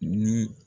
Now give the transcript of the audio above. Ni